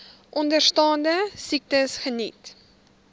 onderstaande siektes geniet